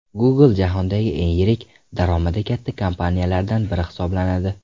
Google jahondagi eng yirik, daromadi katta kompaniyalardan biri hisoblanadi.